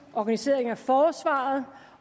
organisering af forsvaret